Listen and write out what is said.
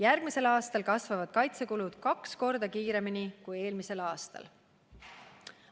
Järgmisel aastal kasvavad kaitsekulud kaks korda kiiremini kui eelmisel aastal.